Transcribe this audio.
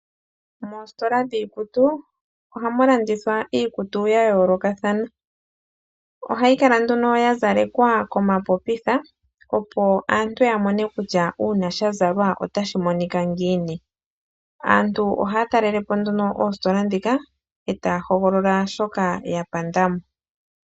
Moositola dhiikutu ohamu landithwa iikutu ya yoolokathana. Ohayi kala nduno ya zalekwa komapopitha opo aantu ya mone kutya uuna sha Zalwa otashi ngiini. Aantu ohaya talelepo nduno oositola ndhika etaya hoogolola shoka ya pandamo.